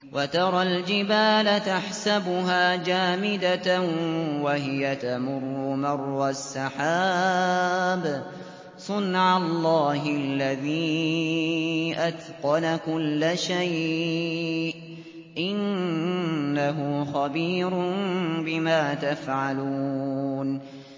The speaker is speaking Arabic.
وَتَرَى الْجِبَالَ تَحْسَبُهَا جَامِدَةً وَهِيَ تَمُرُّ مَرَّ السَّحَابِ ۚ صُنْعَ اللَّهِ الَّذِي أَتْقَنَ كُلَّ شَيْءٍ ۚ إِنَّهُ خَبِيرٌ بِمَا تَفْعَلُونَ